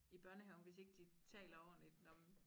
I børnehaven hvis ikke de taler ordentligt nå men